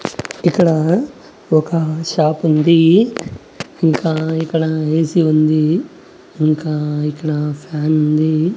ఇక్కడా ఒక షాపుంది ఇంకా ఇక్కడ ఏసి ఉంది ఇంకా ఇక్కడ ఫ్యానుంది .